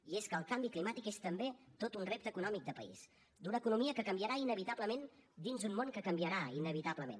i és que el canvi climàtic és també tot un repte econòmic de país d’una economia que canviarà inevitablement dins un món que canviarà inevitablement